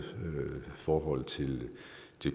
forhold til